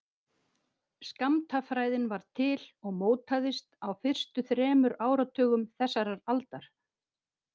Skammtafræðin varð til og mótaðist á fyrstu þremur áratugum þessarar aldar.